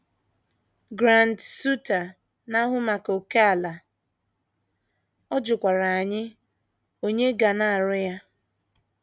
Grant Suiter, na - ahụ maka ókèala, ọ jụkwara anyị onye ga na - arụ ya.